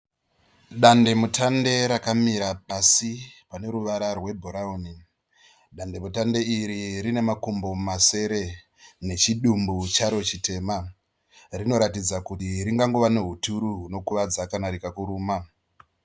Dandemutande rakamira pasi rine ruvara rwebhurauni. Dandemutande iri rine makumbo masere nechidumbu charo chitema. Rinoratidza kuti ringangova nehuturu hunokuvadza kana rikakuruma.